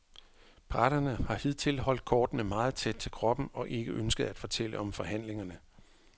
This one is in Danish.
Parterne har hidtil holdt kortene meget tæt til kroppen og ikke ønsket at fortælle om forhandlingerne.